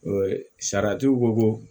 Sariyatigiw ko ko